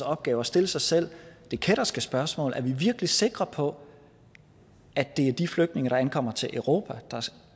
opgave at stille sig selv det kætterske spørgsmål er vi virkelig sikre på at det er de flygtninge der ankommer til europa